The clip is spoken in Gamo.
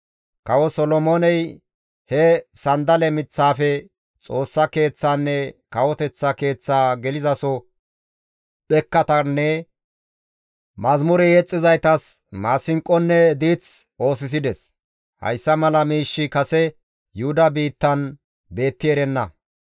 Kawo Solomooney he sanddale miththaafe Xoossa Keeththaanne kawoteththa keeththaa gelizaso dhekkatanne mazamure yexxizaytas maasinqonne diith oosisides. Hayssa mala miishshi kase Yuhuda biittan beetti erenna.